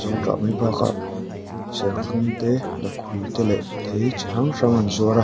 zawngtah mai bakah serthlum te lakhuih te leh thei chi hrang hrang an zuar a.